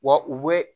Wa u bɛ